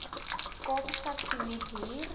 kaapstad kliek hier